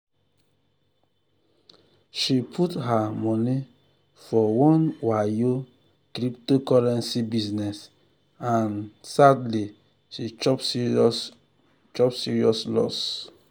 she put her money for one wayo cryptocurrency business and um sadly she chop serious chop serious loss.